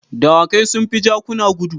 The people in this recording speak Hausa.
Dawakai sun fi jakuna gudu.